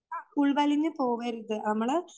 ഉൾവലിഞ്ഞു പോകരുത് നമ്മള്